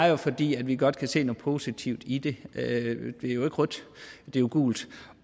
er fordi vi godt kan se noget positivt i det det er jo ikke rødt det er et gult